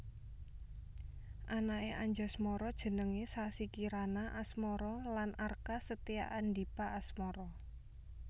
Anaké Anjasmara jenengé Sassi Kirana Asmara lan Arka Setyaandipa Asmara